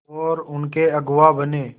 और उनके अगुआ बने